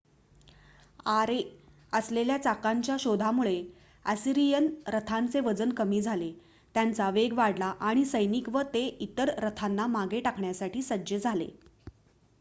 आरे असलेल्या चाकांच्या शोधामुळे असिरियन रथांचे वजन कमी झाले त्यांचा वेग वाढला आणि सैनिक व ते इतर रथांना मागे टाकण्यासाठी सज्ज झाले